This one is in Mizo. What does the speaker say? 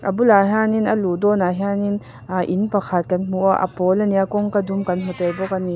a bulah hianin a luh dawnah hianin aaa in pakhat kan hmu a pawl a ni a kawngka dum kan hmu tel bawk ani.